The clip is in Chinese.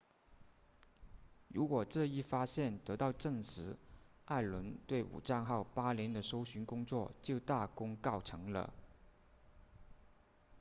如果这一发现得到证实艾伦对武藏号8年的搜寻工作就大功告成了